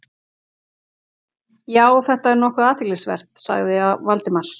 Já, þetta er nokkuð athyglisvert- sagði Valdimar.